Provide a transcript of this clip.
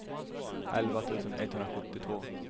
elva tusen etthundrasjuttiotvå